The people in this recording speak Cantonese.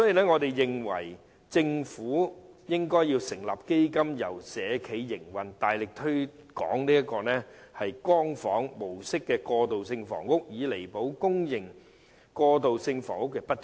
我認為政府應該成立基金並由社企營運，大力推廣"光房"模式的過渡性房屋，以彌補公營過渡性房屋的不足。